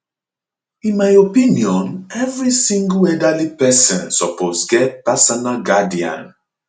in my opinion every single elderly pesin suppose get personal guardian